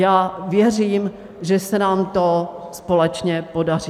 Já věřím, že se nám to společně podaří.